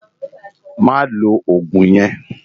Má ló ógún yèn